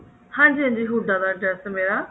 ਹਾਂਜੀ ਹਾਂਜੀ ਹੁੱਡਾ ਦਾ address ਮੇਰਾ